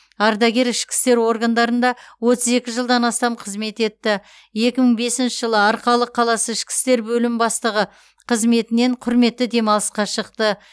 ардагер ішкі істер органдарында отыз екі жылдан астам қызмет етті екі мың бесінші жылы арқалық қаласы ішкі істер бөлім бастығы қызметінен құрметті демалысқа шықты